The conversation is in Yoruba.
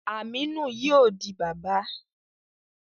Aminu yóò di bàbà